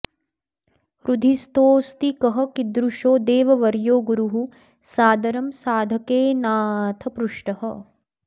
हृदिस्थोऽस्ति कः कीदृशो देववर्यो गुरुः सादरं साधकेनाऽथ पृष्टः